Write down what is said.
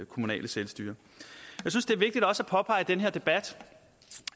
kommunale selvstyre jeg synes det er vigtigt også at påpege i den her debat